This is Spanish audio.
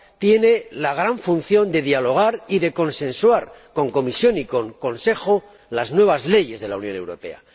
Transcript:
tiene la gran función de dialogar y de consensuar, con la Comisión y con el Consejo, las nuevas leyes de la Unión Europea.